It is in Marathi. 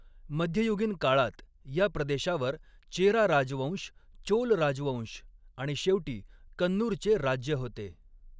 मध्ययुगीन काळात, या प्रदेशावर चेरा राजवंश, चोल राजवंश आणि शेवटी कन्नूरचे राज्य होते.